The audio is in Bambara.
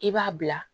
I b'a bila